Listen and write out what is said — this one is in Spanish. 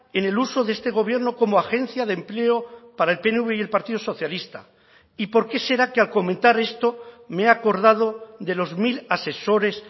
en el uso de este gobierno como agencia de empleo para el pnv y el partido socialista y por qué será que al comentar esto me he acordado de los mil asesores